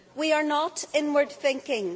We are not inward thinking.